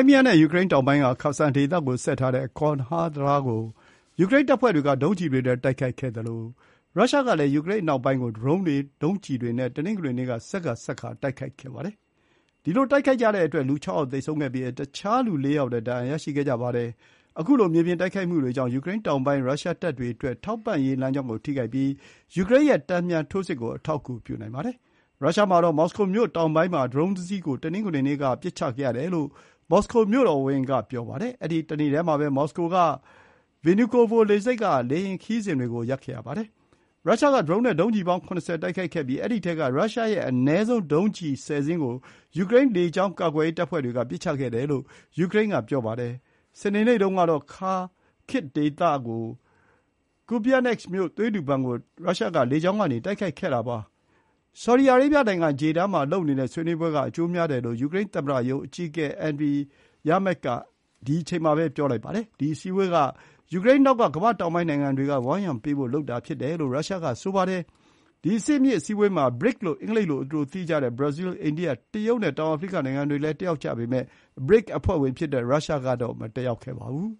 ်းမီးယားနဲ့ ယူကရိန်းတောင်ပိုင်းက ခါဆန်ဒေသကိုဆက်ထားတဲ့ Chonhar တံတားကို ယူကရိန်းတပ်ဖွဲ့တွေက ဒုံးကျည်တွေနဲ့တိုက်ခိုက်ခဲ့သလို ရုရှားကလည်း ယူကရိန်းအနောက်ပိုင်းကို ဒရုန်းတွေ၊ ဒုံးကျည်တွေနဲ့ တနင်္ဂနွေနေ့ က ဆက်ခါဆက်ခါ တိုက်ခိုက်ခဲ့ပါတယ်။ ဒီလို တိုက်ခိုက်ကြတဲ့အတွက် လူ ၆ ယောက် သေဆုံးခဲ့ပြီး တခြားလူ ၄ ယောက်လည်း ဒဏ်ရာရရှိခဲ့ကြပါတယ်။ ခုလို မြေပြင်တိုက်ခိုက်မှုတွေကြောင့် ယူကရိန်းတောင်ပိုင်းကရုရှားတပ်တွေအတွက် ထောက်ပံ့ရေးလမ်းကြောင်းကိုထိခိုက်ပြီး ယူကရိန်းရဲ့ တန်ပြန်ထိုးစစ်ကို အထောက်အကူပြုနိုင်ပါတယ်။ ရုရှားမှာတော့ မော်စကိုမြို့တောင်ပိုင်းမှာ ဒရုန်းတစီးကို တနင်္ဂနွေနေ့က ပစ်ချခဲ့ရတယ်လို့ မော်စကိုမြို့တော်ဝန်က ပြောပါတယ်။ အဲဒီတနေ့တည်းမှာပဲ မော်စကို က Vnukovo လေဆိပ်က လေယာဥ်ခရီးစဥ်တွေကို ရပ်ခဲ့ပါတယ်။ ရုရှားက ဒရုန်းနဲ့ဒုံးကျည်ပေါင်း ၇၀ တိုက်ခိုက်ခဲ့ပြီး အဲဒီထဲက ရုရှားရဲ့ အနည်းဆုံး ဒုံးကျည် ၁၀ စင်းကို ယူကရိန်း လေကြောင်းကာကွယ်ရေးတပ်ဖွဲ့တွေက ပစ်ချခဲ့တယ်လို့ ယူကရိန်းကပြောပါတယ်။ စနေနေ့တုန်းကတော့ ခါခစ်ဒေသက Kupiansk မြို့ သွေးလှူဘဏ်ကို ရုရှားက လေကြောင်းကနေ တိုက်ခိုက်ခဲ့တာပါ။ ဆော်ဒီအာရေဗျနိုင်ငံ Jeddah မှာ လုပ်နေတဲ့ဆွေးနွေးပွဲက အကျိုးများတယ်လို့ ယူကရိန်းသမ္မတရုံးအကြီးအကဲ Andriy Yermak က ဆိုပါတယ်။ ဒီ အစည်းအဝေးဟာ ကမ္ဘာ့တောင်ပိုင်းနိုင်ငံတွေက ယူကရိန်းနောက်ကဝန်းရံပေးဖို့ လုပ်တာဖြစ်တယ်လို့ ရုရှားက ပြောပါတယ်။ ဒီ အဆင့်မြင့် အစည်းအဝေးမှာ BRICS လို့ အင်္ဂလိပ်လို အတိုသိကြတဲ့ ဘရာဇီး၊ အိန္ဒိယ၊ တရုတ်နဲ့ တောင်အာဖရိက နိုင်ငံတွေလည်းတက်ရောက်ကြပေမဲ့ ဘရစ်အဖွဲ့ဝင် ရုရှားတော့ မတက်ရောက်ခဲ့ပါဘူး